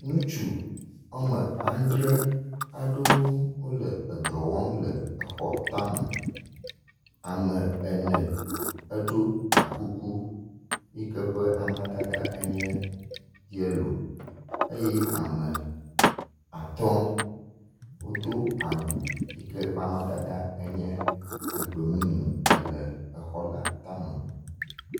Ŋutsu wɔme andre aɖewo wo le edɔ wɔm le exɔ ta me. Ame ene eɖo akuku yi ke ƒe amadada enye yelo eye ame atɔ wodo awu yi ke ƒe amadada enye egbemumu ele exɔ la tame.